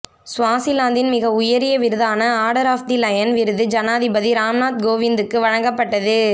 சுவாசிலாந்தின் மிக உயரிய விருதான ஆர்டர் ஆப் தி லயன் விருது ஜனாதிபதி ராம்நாத் கோவிந்துக்கு வழங்கப்பட்டது